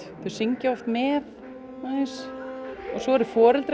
þau syngja oft með svo eru foreldrar